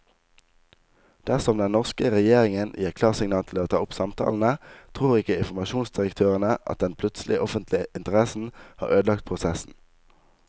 Dersom den norske regjeringen gir klarsignal til å ta opp samtalene, tror ikke informasjonsdirektørene at den plutselige offentlige interessen har ødelagt prosessen.